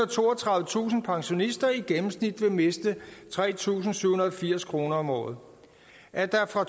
og toogtredivetusind pensionister i gennemsnit vil miste tre tusind syv hundrede og firs kroner om året at der fra